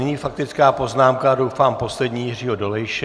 Nyní faktická poznámka, a doufám poslední, Jiřího Dolejše.